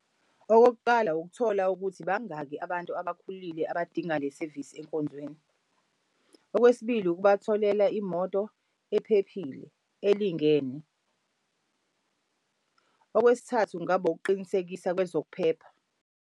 Okokuqala ukuthola ukuthi bangaki abantu abakhulile abadinga le sevisi enkonzweni. Okwesibili ukubatholela imoto ephephile elingene. Okwesithathu kungaba ukuqinisekisa kwezokuphepha.